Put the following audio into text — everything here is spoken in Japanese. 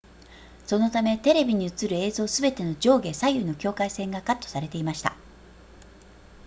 そのためテレビに映る映像すべての上下左右の境界線がカットされていました